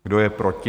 Kdo je proti?